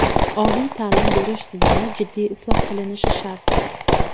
Oliy ta’lim berish tizimi jiddiy isloh qilinishi shart!.